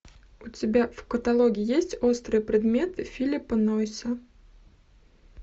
у тебя в каталоге есть острые предметы филиппа нойза